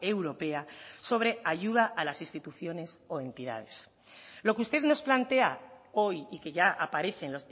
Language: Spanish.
europea sobre ayuda a las instituciones o entidades lo que usted nos plantea hoy y que ya aparece en